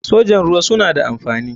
sojan ruwa suna da amfani.